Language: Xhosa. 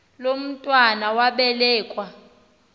lo mntwana wabelekua